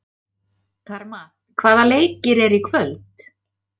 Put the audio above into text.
Karma, hvaða leikir eru í kvöld?